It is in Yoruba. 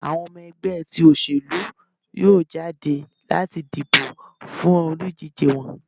awọn ọmọ ẹgbẹ ti oselú yọọ jadé lati dibo fún olúdije wọn.